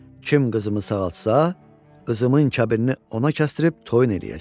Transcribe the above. Kim qızımı sağaltsa, qızımın kəbinini ona kəsdirib toyun eləyəcəm.